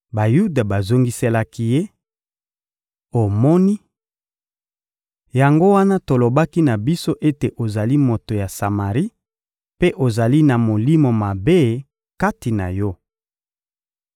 Bayuda bazongiselaki Ye: — Omoni! Yango wana tolobaki na biso ete ozali moto ya Samari mpe ozali na molimo mabe kati na yo.